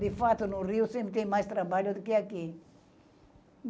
De fato, no Rio sempre tem mais trabalho do que aqui.